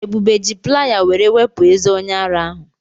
Ebube ji playa were wepụ ezé onye ara ahụ.